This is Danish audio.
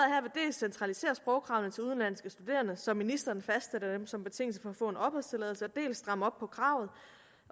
centralisere sprogkravene til udenlandske studerende så ministeren fastsætter dem som betingelse for at få en opholdstilladelse dels stramme op på kravet